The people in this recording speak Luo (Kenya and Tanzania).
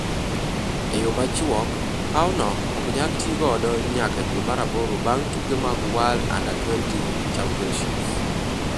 E yo machuok, paw no ok nyal ti godo nyaka dwe mar aboro bang' tuke mag World U20 Championships.